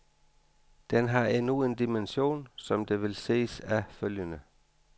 Den har endnu en dimension, som det vil ses af følgende.